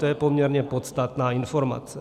To je poměrně podstatná informace.